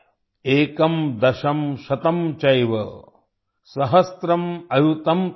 एकं दशं शतं चैव सहस्रम् अयुतं तथा